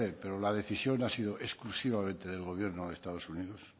pero la decisión ha sido exclusivamente del gobierno de estados unidos